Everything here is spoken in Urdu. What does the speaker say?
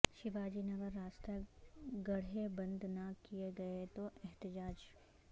شیواجی نگر راستہ گڑھے بند نہ کئے گئے تو احتجاج